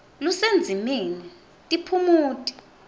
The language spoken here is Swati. lusendzimeni tiphumuti